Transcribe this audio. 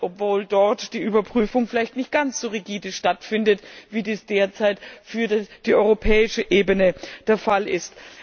obwohl dort die Überprüfung vielleicht nicht ganz so rigide stattfindet, wie dies derzeit für die europäische Ebene der Fall ist.